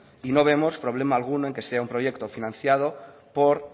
y no vemos problema alguno que sea un proyecto financiado por